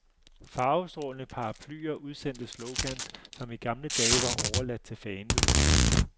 Farvestrålende paraplyer udsendte slogans, som i gamle dage var overladt til fanedugen.